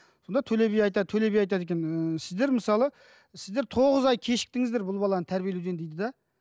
сонда төле би айтады төле би айтады екен ііі сіздер мысалы сіздер тоғыз ай кешіктіңіздер бұл баланы тәрбиелеуден дейді де